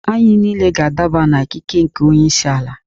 Anyị niile ga-adaba n'ikeke nke onye isi ala